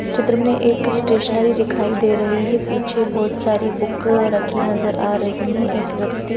इस चित्र में एक स्टेशनरी दिखाई दे रही है पीछे बहोत सारी बुक रखी नजर आ रही है एक व्यक्ति--